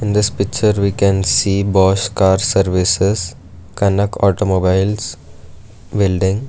In this picture we can see bosch car services kanak automobiles building.